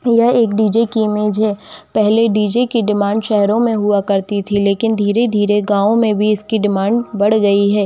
यह एक डी.जे. की इमेज है पहले डी.जे. की डिमांड शहरों में हुआ करती थी लेकिन धीरे-धीरे गांव में भी इसकी डिमांड बढ़ गई है।